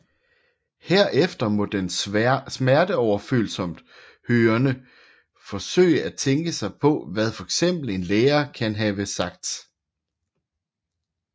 Herefter må den smerteoverfølsomt hørende forsøge at tænke sig til hvad fx en lærer kan have sagt